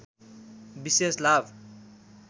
विशेष लाभ